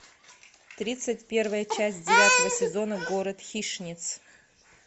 тридцать первая часть девятого сезона город хищниц